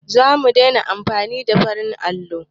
Zamu daina amfani da baƙin allo